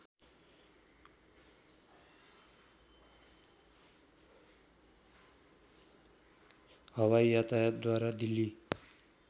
हवाई यातायातद्वारा दिल्ली